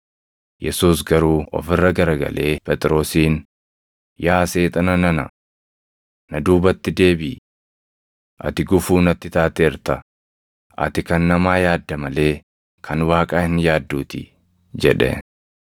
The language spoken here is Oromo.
Yesuus garuu of irra garagalee Phexrosiin, “Yaa Seexana nana! Na duubatti deebiʼi! Ati gufuu natti taateerta; ati kan namaa yaadda malee kan Waaqaa hin yaadduutii” jedhe.